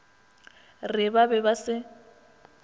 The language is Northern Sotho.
re ba be ba se